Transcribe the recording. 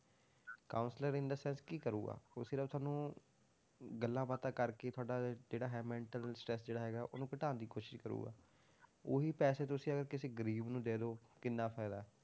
Counselor in the sense ਕੀ ਕਰੇਗਾ, ਉਹ ਸਿਰਫ਼ ਸਾਨੂੰ ਗੱਲਾਂ ਬਾਤਾਂ ਕਰਕੇ ਤੁਹਾਡਾ ਜਿਹੜਾ ਹੈ mental stress ਜਿਹੜਾ ਹੈਗਾ ਉਹਨੂੰ ਘਟਾਉਣ ਦੀ ਕੋਸ਼ਿਸ਼ ਕਰੇਗਾ, ਉਹੀ ਪੈਸੇ ਤੁਸੀਂ ਅਗਰ ਕਿਸੇ ਗ਼ਰੀਬ ਨੂੰ ਦੇ ਦਓ ਕਿੰਨਾ ਫ਼ਾਇਦਾ ਹੈ,